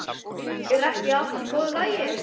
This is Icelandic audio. Er ekki allt í góðu lagi?